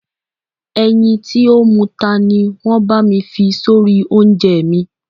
Ẹyin tí ó muta ni wọ́n bá mi fi sórí oúnjẹ mi.